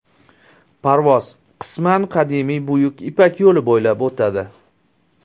Parvoz qisman qadimiy Buyuk ipak yo‘li bo‘ylab o‘tadi.